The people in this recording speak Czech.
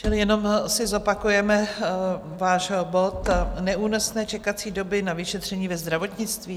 Čili jenom si zopakujeme váš bod, Neúnosné čekací doby na vyšetření ve zdravotnictví.